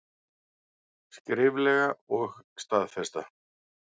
Skriflega og staðfesta.